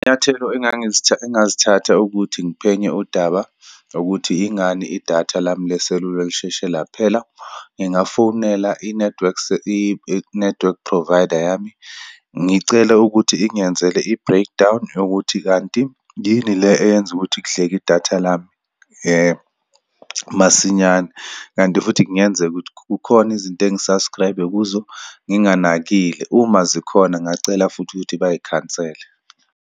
Izinyathelo engazithatha ukuthi ngiphenye udaba lokuthi yingani idatha lami leselula lisheshe laphela. Ngingafonela i-network i-network provider yami, ngicela ukuthi ingenzele i-breakdown yokuthi kanti yini le eyenza ukuthi kudleke idatha lami masinyane. Kanti futhi kungenzeka ukuthi kukhona izinto engi-subscribe-e kuzo nginganakile. Uma zikhona, ngacela futhi ukuthi bayikhansele.